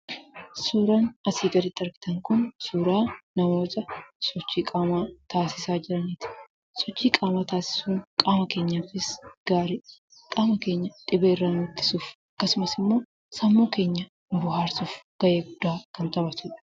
Suuraan asii gaditti argitan kun suuraa namoota sochii qaamaa taasisaa jiraniiti. Sochii qaamaa taasisuun qaama keenyaafis gaariidha. Qaama keenya dhibeerraa nu ittisuuf, akkasumas immoo sammuu keenya nu bohaarsuuf gahee guddaa kan taphatudha.